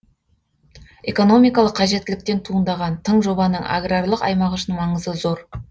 экономикалық қажеттіліктен туындаған тың жобаның аграрлық аймақ үшін маңызы зор